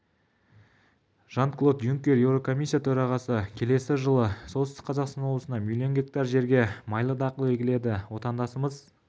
жан-клод юнкер еурокомиссия төрағасы келесі жылы солтүстік қазақстан облысында миллион гектар жерге майлы дақыл егіледі отандасымыз